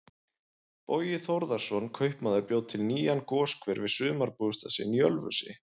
Bogi Þórðarson kaupmaður bjó til nýjan goshver við sumarbústað sinn í Ölfusi.